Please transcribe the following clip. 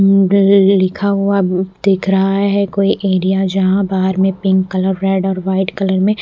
लिखा हुआ दिख रहा है कोई एरिया जहां बाहर में पिंक कलर रेड और व्हाइट कलर में--